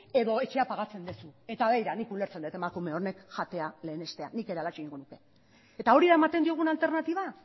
edo etxea pagatzen duzu eta begira nik ulertzen dut emakume honek jatea lehenestea nik ere halaxe egingo nuke eta hori da ematen diogun alternatiba